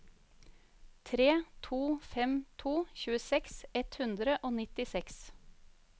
tre to fem to tjueseks ett hundre og nittiseks